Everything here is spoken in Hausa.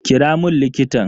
Kira mun likitan.